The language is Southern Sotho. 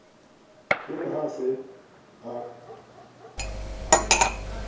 e re ha a se